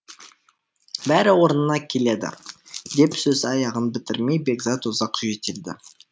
бәрі орнына келеді деп сөз аяғын бітірмей бекзат ұзақ жөтелді